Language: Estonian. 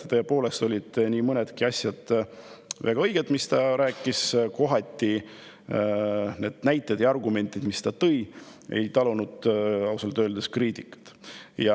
Tõepoolest, nii mõnedki asjad, mis ta rääkis, olid väga õiged, aga kohati need näited ja argumendid, mis ta tõi, ei talunud ausalt öeldes kriitikat.